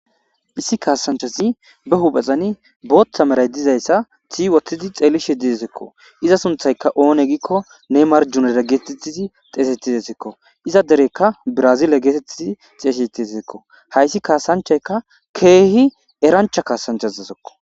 issi kaasanchazi be huphezani booththa maray dizayssati wothidi xeelishe didesikko iza sunthayka oone giikko nemarjuneda geetettizi xeesetidesikko iza dereykka brazile geetettizi xeeyshitiesikko hayssi kaasanchayka keehi erancha kaasanchazesekko